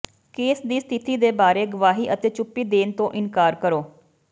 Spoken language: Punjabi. ਕੇਸ ਦੀ ਸਥਿਤੀ ਦੇ ਬਾਰੇ ਗਵਾਹੀ ਅਤੇ ਚੁੱਪੀ ਦੇਣ ਤੋਂ ਇਨਕਾਰ ਕਰੋ